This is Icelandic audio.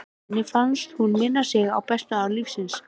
Henni fannst hún minna sig á bestu ár lífsins.